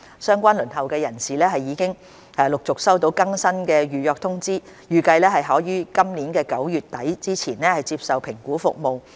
相關輪候人士已陸續收到更新的預約通知，預計可於今年9月底前接受評估服務。